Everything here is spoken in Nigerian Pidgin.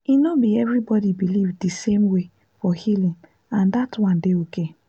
e no be everybody believe the same way for healing and that one dey okay.